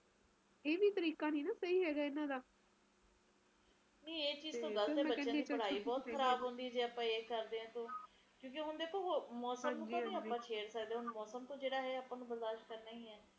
ਜਿਹੜੇ ਪਹਾੜੀ ਇਲਾਕੇ ਐ ਇਹ ਜੀਓ ਇਲਾਕੇ ਜਿਥੇ ਨਦੀਆਂ ਐ ਬਾੜ ਜਿਥੇ ਆਂਦੀ ਐ ਓਹਨਾ ਲੋਕਾਂ ਦੇ ਲਏ ਜ਼ਿੰਦਗੀ ਕਿੰਨੇ ਔਖੀ ਐ ਉਸ ਸਮੇ ਕਿੰਨਾ ਔਖਾ ਹੋ ਜਾਂਦਾ